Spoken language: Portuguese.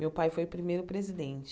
Meu pai foi o primeiro presidente.